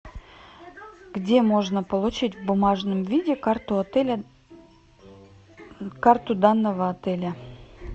где можно получить в бумажном виде карту отеля карту данного отеля